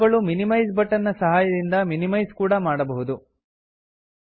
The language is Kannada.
ಇವುಗಳು ಮಿನಿಮೈಜ್ ಬಟನ್ ನ ಸಹಾಯದಿಂದ ಮಿನಿಮೈಜ್ ಕೂಡಾ ಮಾಡಬಹುದು